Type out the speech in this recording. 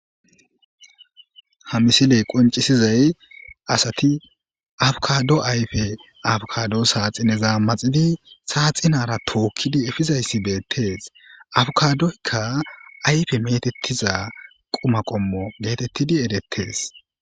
Ha misile qonccisizay asati abkkaado ayfe abkkaado saaxinezan maxidi saaxinaara tookidi efidayssi beetees. Abkkaadoykka ayfe meetetiza quma qommo getettidi eretees.